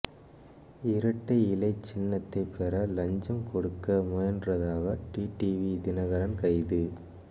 இரட்டை இலை சின்னத்தை பெற லஞ்சம் கொடுக்க முயன்றதாக டிடிவி தினகரன் கைது